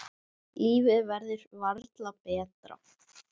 Lífið verður varla betra.